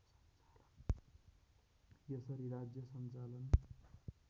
यसरी राज्य सञ्चालन